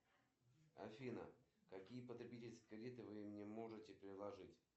афина показать канал телевидения первый вегетарианский